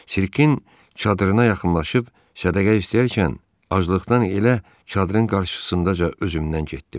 Sirkin çadırına yaxınlaşıb sədəqə istəyərkən aclıqdan elə çadırın qarşısındaca özümdən getdim.